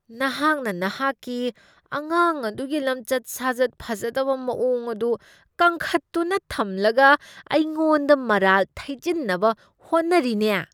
ꯅꯍꯥꯛꯅ ꯅꯍꯥꯛꯀꯤ ꯑꯉꯥꯡ ꯑꯗꯨꯒꯤ ꯂꯝꯆꯠ ꯁꯥꯖꯠ ꯐꯖꯗꯕ ꯃꯑꯣꯡ ꯑꯗꯨ ꯀꯟꯈꯠꯇꯨꯅ ꯊꯝꯂꯒ ꯑꯩꯉꯣꯟꯗ ꯃꯔꯥꯜ ꯊꯩꯖꯤꯟꯅꯕ ꯍꯣꯠꯅꯔꯤꯅꯦ꯫